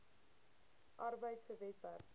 arbeid se webwerf